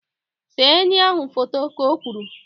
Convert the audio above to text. See enyi ahụ foto! Ka o kwuru